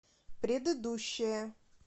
предыдущая